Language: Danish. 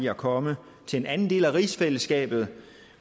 at komme til en anden del af rigsfællesskabet